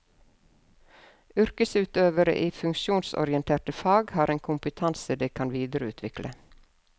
Yrkesutøvere i funksjonsorienterte fag har en kompetanse de kan videreutvikle.